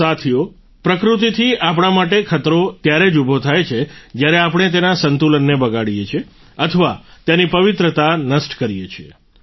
સાથીઓ પ્રકૃતિથી આપણા માટે ખતરો ત્યારે જ ઉભો થાય છે જ્યારે આપણે તેના સંતુલનને બગાડીએ છીએ અથવા તેની પવિત્રતા નષ્ટ કરીએ છીએ